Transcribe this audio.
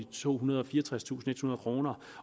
tohundrede og fireogtredstusindethundrede kroner